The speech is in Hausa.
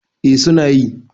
eh suna yi